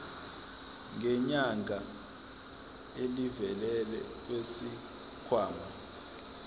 ngenyanga elivela kwisikhwama